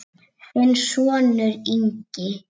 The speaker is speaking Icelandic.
Þinn sonur, Ingi.